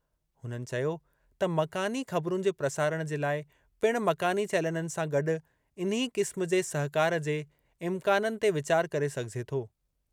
हुननि चयो त मकानी ख़बरुनि जे प्रसारणु जे लाइ पिणु मकानी चैनलनि सां गॾु इन्ही क़िस्म जे सहिकार जे इम्काननि ते वीचारु करे सघिजे थो।